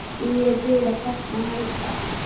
Því ég er byrjuð að sakna Helga.